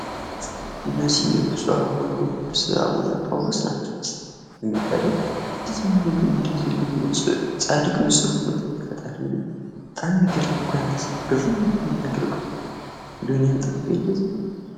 እነዚህ ብፁዕ ወቅዱስ አቡነ ጳውሎስ ናቸው ። እንዴት ነው ግን እንደዚህ ፃድቅ ንፁህ የሆኑት? እንዴው ፈጠሪ እንዴው ባጣም ሚገርም ነው እኮ የአንት ስራ! ግርም እኮ ነው ሚያደርገው እንዴው እኔንም ጠብቀኝ እንዴው ።